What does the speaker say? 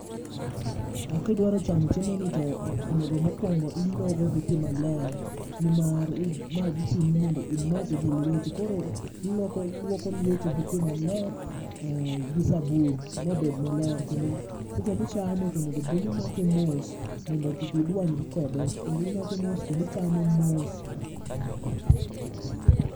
E kidwaro chamo chiemo ni to onego mokwongo ilogo gi pi maler, nimar ma dhi chuni mondo imake gi lweti. Koro ilwoko, ilwoko lweti gi pi maler gi sabun mobed maler. Kendo seche michame tonegobedni imake mos mondo kik idwanyri kode. Kendo imake mos, kendi chame mos.